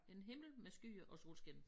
En himmel med skyer og solskin